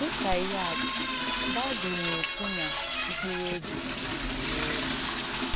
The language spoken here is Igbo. Dị̀ kà ìhé àtụ̀, Bị̀bụ̀l̀ nà-èkwù nà mkpụrụ̀ òbì nà-àrụ̀ òrù.